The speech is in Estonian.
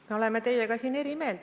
Me oleme teiega siin eri meelt.